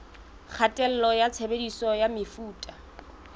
kgatello ya tshebediso ya mefuta